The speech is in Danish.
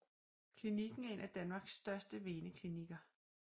Klinikken er en af Danmarks største veneklinikker